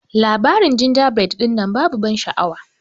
Labarin jinjabred dinnan babu ban sha'awa.